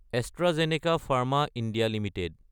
AstraZeneca Pharma India Ltd